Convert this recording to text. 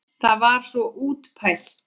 Það var svo útpælt!